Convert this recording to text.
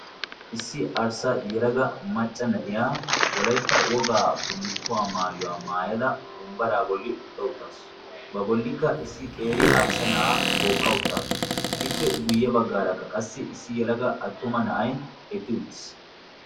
Issi arssa yalaga macca na'iya wolaitta wogaa bullikkuwaa maayuwaa maayada bombbaraa bolli utta uttaasu ba bollikka issi qeeri arssa na'aa tookka uttaasu. ippe guyye baggaarakka qassi issi yalaga attuma na'ay eqqi uttiis.